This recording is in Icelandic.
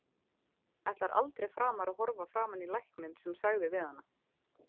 Ætlar aldrei framar að horfa framan í lækninn sem sagði við hana.